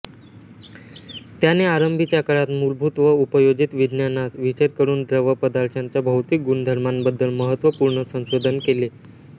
त्याने आरंभीच्या काळात मूलभूत व उपयोजित विज्ञानात विशेषकरूनद्रव पदार्थांच्या भौतिक गुणधर्मांबद्दल महत्त्वपूर्ण संशोधन केले